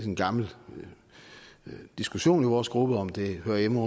en gammel diskussion i vores gruppe om det hører hjemme